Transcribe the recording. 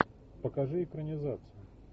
покажи экранизацию